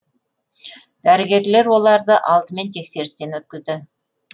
дәрігерлер оларды алдымен тексерістен өткізді